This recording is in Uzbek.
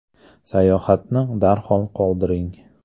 Sayohatni darhol qoldiring”.